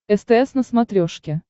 стс на смотрешке